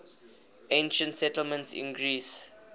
ancient settlements in greece